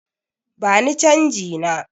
Bani canji na!